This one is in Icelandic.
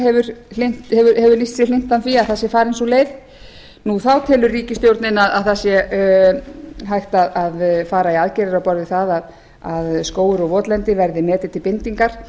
hefur lýst sig hlynntan því að það sé farin sú leið þá telur ríkisstjórnin að það sé hægt að fara í aðgerðir á borð við það að skógur og votlendi verði metin til bindingar